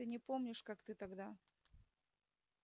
ты не помнишь как ты тогда